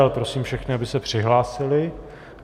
Ale prosím všechny, aby se přihlásili.